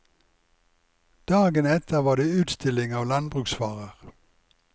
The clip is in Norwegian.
Dagen etter var det utstilling av landbruksvarer.